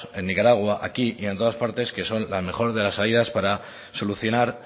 en nicaragua aquí y en todas partes que son la mejor de las salidas para solucionar